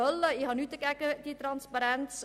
Ich habe nichts gegen diese Transparenz.